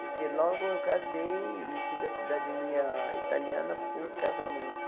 Porque logo eu casei e tive a cidadania italiana por casamento.